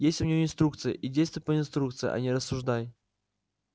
есть у тебя инструкция и действуй по инструкции а не рассуждай